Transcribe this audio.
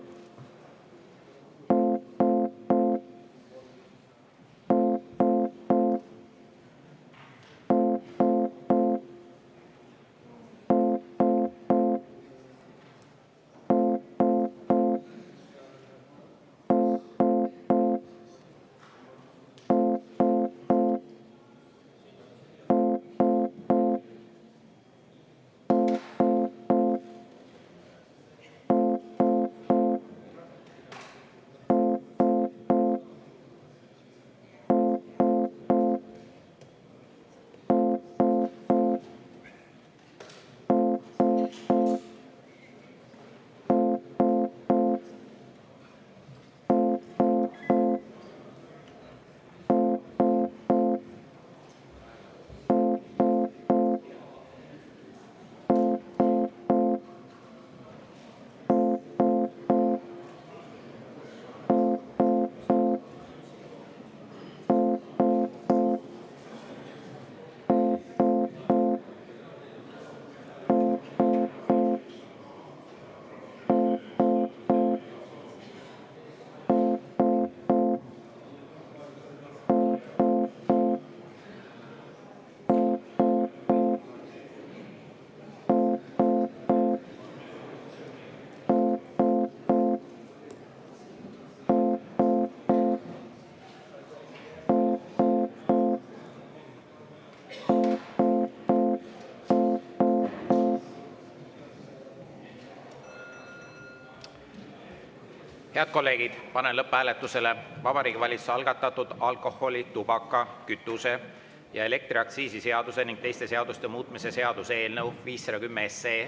Head kolleegid, panen lõpphääletusele Vabariigi Valitsuse algatatud alkoholi‑, tubaka‑, kütuse‑ ja elektriaktsiisi seaduse ning teiste seaduste muutmise seaduse eelnõu 510.